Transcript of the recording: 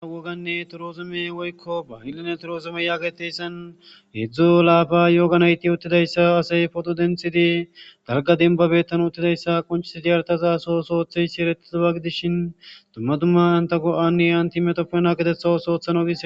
Awoganne toroozume woykko bahilline torozume yaageteyssan hedzdzu laafa yooganayti uttidayssa asey podo denthidi darga dinbabettan uttidayssa qonchisidi yartaza so soothe shiiretiza wagidishin dummadumma anta go7anni antimetofena getetha soothano gi.